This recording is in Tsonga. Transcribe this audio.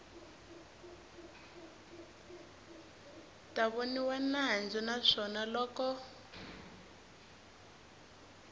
ta voniwa nandzu naswona loko